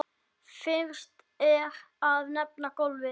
Fyrst er að nefna golfið.